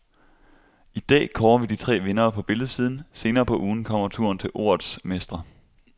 I dag kårer vi de tre vindere på billedsiden, senere på ugen kommer turen til ordets mestre.